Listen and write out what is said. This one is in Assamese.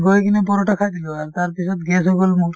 গৈ কিনে paratha খাই দিলো আৰু তাৰপিছত gas হৈ গল মোৰ